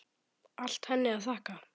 Allt henni að þakka.